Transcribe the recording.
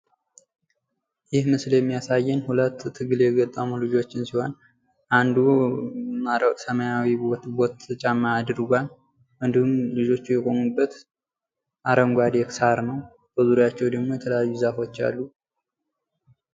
ይህ ምስል የሚያሳየን ሁለት ትግል የገጠሙ ልጆችን ሲሆን አንዱ ሰማያዊ ቦቲ ጫማ አድርጓል። እንዲሁም ልጆቹ የቆሙበት አረንጓዴ ሳር ነው። በዚሪያቸው ደሞ የተለያዩ ዛፎች አሉ።